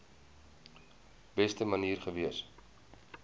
beste manier gewees